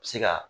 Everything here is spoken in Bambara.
Se ka